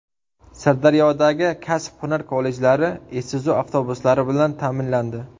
Sirdaryodagi kasb-hunar kollejlari Isuzu avtobuslari bilan ta’minlandi.